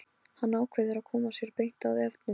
Hann ákveður að koma sér beint að efninu.